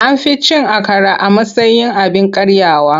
An fi cin akara a matsayin abin karyawa.